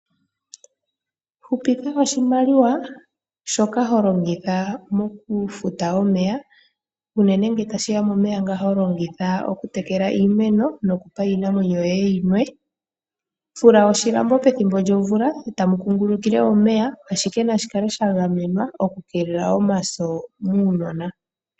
Hupitha oshimaliwa shoka ho longitha mokufuta omeya. Unene ngele tashi ya momeya ngoka ho longitha okutekela iimeno no ku pa wo iinamwenyo yoye yi nwe. Fula oshilambo pethimbo lyomvula e ta mu kungulukile omeya, ashike nashi kale sha gamenwa oku keelela omaso muunona.